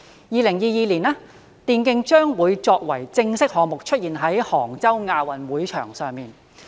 2022年，電競將會作為正式項目，出現在杭州亞運會場上。